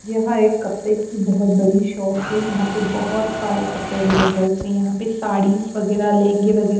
यहां एक कपड़े की बहुत बड़ी शॉप है यहां पे बहुत सारे कपड़े अवेलेबल्स हैं यहां पे साड़ीज वगैरह लहंगे वगैरह।